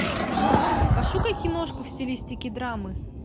пошукай киношку в стилистике драмы